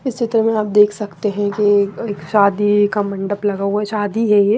इस चित्र में आप देख सकते हैं कि एक शादी का मंडप लगा हुआ है शादी है ये।